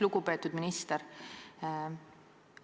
Lugupeetud minister!